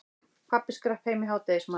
Pabbi skrapp heim í hádegismat.